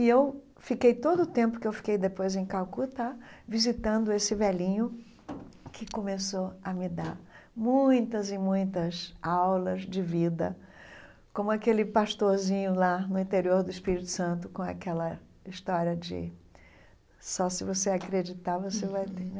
E eu fiquei todo o tempo que eu fiquei depois em Calcutá visitando esse velhinho que começou a me dar muitas e muitas aulas de vida, como aquele pastorzinho lá no interior do Espírito Santo com aquela história de só se você acreditar você vai ter, né?